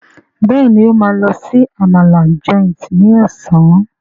Béèni o ma ló sì Àmàlà Joint ní Ọ̀sán.